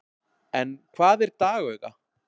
en hvað er dagauga